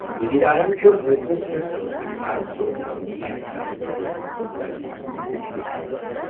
وزیر اعلیٰ یَن کوٚر حٲدثَس پٮ۪ٹھ صدمُک اِظہار تہٕ کوٚرُن غمگیٖن عیالَن سۭتۍ تعزیت ہُنٛد اِظہار۔